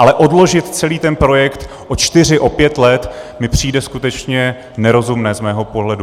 Ale odložit celý ten projekt o čtyři, o pět let mi přijde skutečně nerozumné z mého pohledu.